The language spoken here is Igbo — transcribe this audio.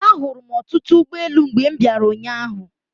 Ahụrụ m ọtụtụ ụgboelu mgbe m bịara ụnyaahụ.